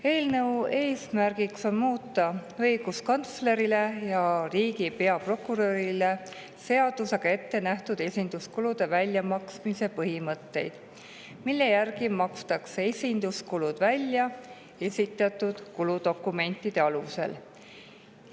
Eelnõu eesmärk on muuta õiguskantslerile ja riigi peaprokurörile seadusega ette nähtud esinduskulude väljamaksmise põhimõtteid, et esinduskulud makstakse välja esitatud kuludokumentide alusel.